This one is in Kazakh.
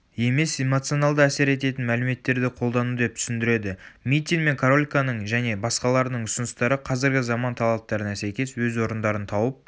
емес эмоционалды әсер ететін мәліметтерді қолдану деп түсіндіреді митин мен корольконың және басқаларының ұсыныстары қазіргі заман талаптарына сәйкес өз орындарын тауып